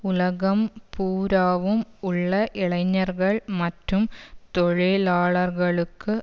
உலகம் பூராவும் உள்ள இளைஞர்கள் மற்றும் தொழிலாளர்களுக்கு